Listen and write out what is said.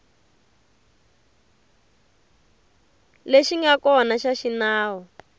lexi nga kona xa xinawu